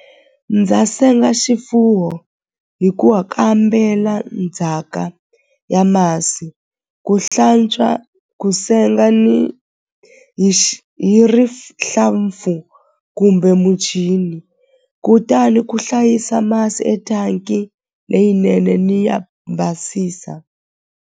Ndza senga xifuwo hi ku wa kambela ndzhaka ya masi ku hlantswa ku senga ni hi hi rihlampfu kumbe muchini kutani ku hlayisa masi leyinene ni ya basisa.